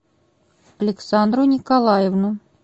александру николаевну